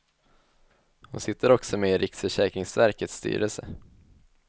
Hon sitter också med i riksförsäkringsverkets styrelse.